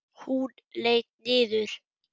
Hún leit niður.